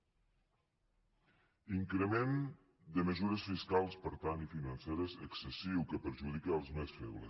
increment de mesures fiscals per tant i financeres excessiu que perjudica els més febles